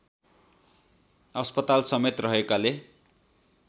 अस्पताल समेत रहेकाले